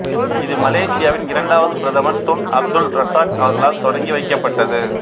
இது மலேசியாவின் இரண்டாவது பிரதமர் துன் அப்துல் ரசாக் அவர்களால் தொடங்கி வைக்கப்பட்டது